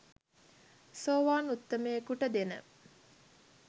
සෝවාන් උත්තමයයෙකුට දෙන